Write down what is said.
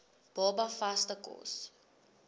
baba vaste kos